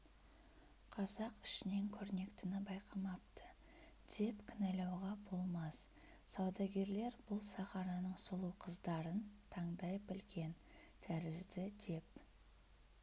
қазақ ішінен көрнектіні байқамапты деп кінәлауға болмас саудагерлер бұл сахараның сұлу қыздарын тандай білген тәрізді деп